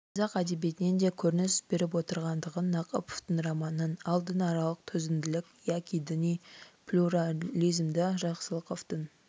қазақ әдебиетінен де көрініс беріп отырғандығын нақыповтың романынан ал дінаралық төзімділік яки діни плюрализмді жақсылықовтың